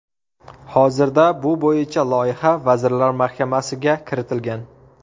Hozirda bu bo‘yicha loyiha Vazirlar Mahkamasiga kiritilgan.